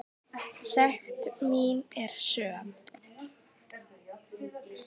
Sekt mín er söm.